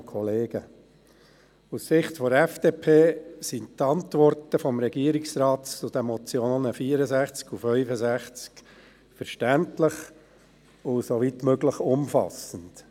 Aus der Sicht der FDP sind die Antworten des Regierungsrates zu den Motionen zu den Traktanden 64 und 65 verständlich und, soweit möglich, umfassend.